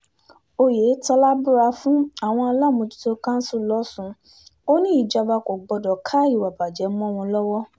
oyetola búra fáwọn aláàmejútó kanṣu lọ́sùn ò ní ìjọba kò gbọdọ̀ ká ìwà ìbàjẹ́ mọ́ wọn lọ́wọ́